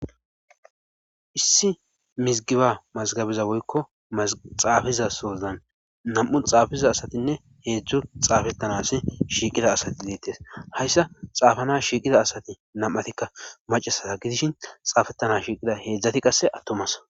Issi mizigiba mazgabiza woykko xaafizasozan nam7u xaafiza asatinne heedzdzo xaafettanas shiiqida asati ileettes hayssa xaafana shiiqida asati nam'atikka macasaa gidishin xaafettana shiiqida heedzdzati qasse attomas.